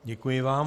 Děkuji vám.